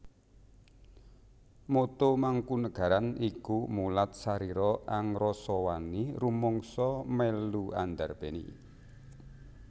Motto Mangkunagaran iku Mulat sarira angrasa wani rumangsa mélu andarbéni